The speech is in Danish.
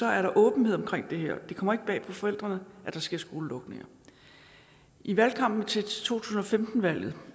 er åbenhed om det her det kommer ikke bag på forældrene at der sker skolelukninger i valgkampen til to tusind og femten valget